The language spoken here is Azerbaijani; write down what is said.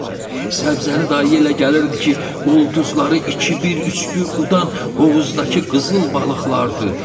Səbzəli dayı elə gəlirdi ki, ulduzları iki bir, üç bir udan hovuzdakı qızıl balıqlardır.